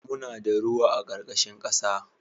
Muna da ruwa a ƙarƙashin ƙasa